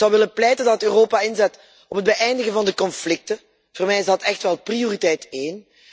Ik zou ervoor willen pleiten dat Europa inzet op het beëindigen van de conflicten. Voor mij is dat echt wel prioriteit één.